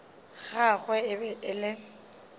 gagwe e be e le